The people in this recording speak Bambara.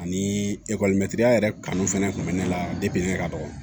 Ani ya yɛrɛ kanu fɛnɛ kun bɛ ne la ne ka dɔgɔ